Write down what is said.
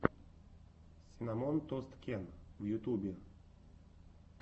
синнамон тост кен в ютюбе